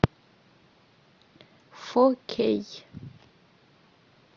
фо кей